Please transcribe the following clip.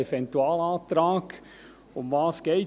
Dieser Eventualantrag wurde nun schon vielfach erwähnt.